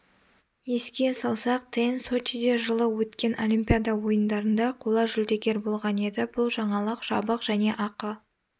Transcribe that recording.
еске салсақ тен сочиде жылы өткен олимпиада ойындарында қола жүлдегер болған еді бұл жаңалық жабық және ақы